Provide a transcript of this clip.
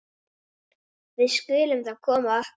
Við skulum þá koma okkur.